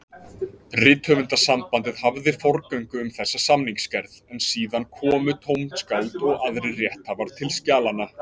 Rithöfundasambandið hafði forgöngu um þessa samningsgerð, en síðan komu tónskáld og aðrir rétthafar til skjalanna.